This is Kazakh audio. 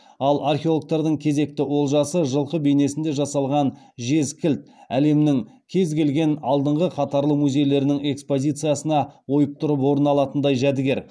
ал археологтардың кезекті олжасы жылқы бейнесінде жасалған жез кілт әлемнің кез келген алдыңғы қатарлы музейлерінің экспозициясынан ойып тұрып орын алатындай жәдігер